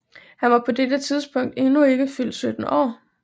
Han var på dette tidspunkt endnu ikke fyldt 17 år